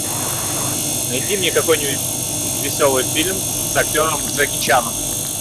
найди мне какой нибудь веселый фильм с актером джеки чаном